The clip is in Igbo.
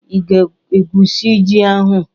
Ị ga-egwusi ji ahu?